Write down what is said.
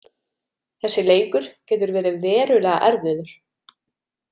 Þessi leikur getur verið verulega erfiður.